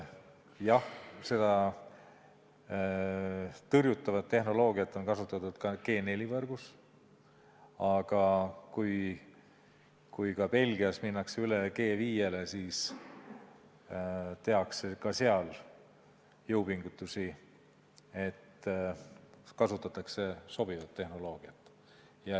Jah, seda tõrjutavat tehnoloogiat on kasutatud ka 4G-võrgus, aga kui Belgias minnakse üle 5G-le, siis tehakse ka seal jõupingutusi, et kasutada sobivat tehnoloogiat.